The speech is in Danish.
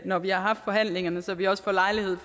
når vi har haft forhandlingen så vi også får lejlighed